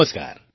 નમસ્કાર